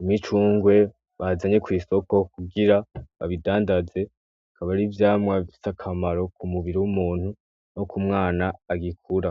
imicungwe, bazanye kw'isoko ,kugira babidandaze, akaba ari ivyamwa bifise akamaro k'umubiri w'umuntu no kumwana agikura.